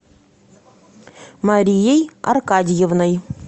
марией аркадьевной